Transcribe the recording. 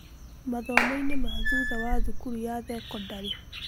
Mathomo-inĩ ma thutha wa thukuru ya thekondarĩ.